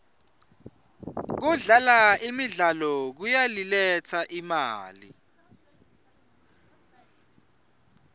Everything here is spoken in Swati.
kudlala imidlalo kuyayiletsa imali